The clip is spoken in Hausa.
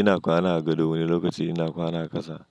Ina kwana a gado wani lokaci ina kwana a ƙasa.